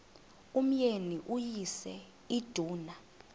umyeni uyise iduna